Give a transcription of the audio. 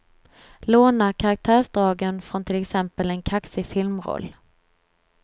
Låna karaktärsdragen från till exempel en kaxig filmroll.